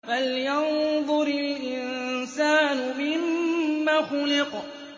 فَلْيَنظُرِ الْإِنسَانُ مِمَّ خُلِقَ